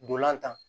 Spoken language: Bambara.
Ndolan tan